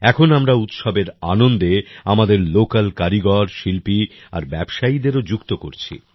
এখন আমরা উৎসবের আনন্দে আমাদের লোকাল কারিগর শিল্পী আর ব্যবসায়ীদেরও যুক্ত করছি